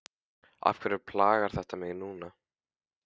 Af hverju plagar þetta mig núna?